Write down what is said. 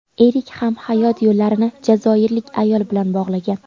Erik ham hayot yo‘llarini jazoirlik ayol bilan bog‘lagan.